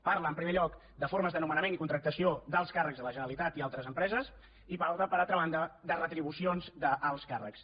parla en primer lloc de formes de nomenament i contractació d’alts càrrecs de la generalitat i altres empreses i per altra banda de retribucions d’alts càrrecs